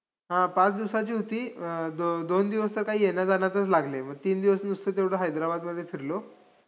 ज्योतिराव फुले यांचे पहिले चरित्र या पहिल्या प्रकरणात लेखकाने सत्यशोधक चळवळीतील नेते पंढरीनाथ पाटील.